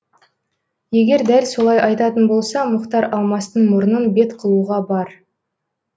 егер дәл солай айтатын болса мұхтар алмастың мұрнын бет қылуға бар